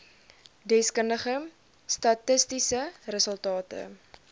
deskundige statistiese resultate